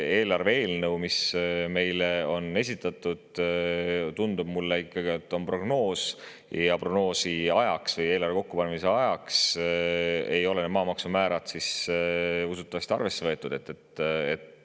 Eelarve eelnõu puhul, mis meile on esitatud, tundub mulle, et prognoosi ajaks või eelarve kokkupanemise ajaks ei olnud maamaksumäärasid arvesse võetud.